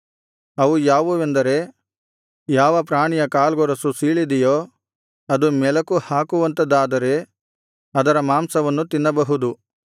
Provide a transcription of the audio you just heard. ಅವು ಯಾವುವೆಂದರೆ ಯಾವ ಪ್ರಾಣಿಯ ಕಾಲ್ಗೊರಸು ಸೀಳಿದೆಯೋ ಅದು ಮೆಲುಕುಹಾಕುವಂಥದಾದರೆ ಅದರ ಮಾಂಸವನ್ನು ತಿನ್ನಬಹುದು